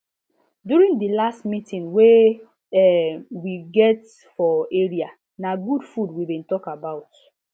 during the last meeting wey um we get for area na good food we been talk about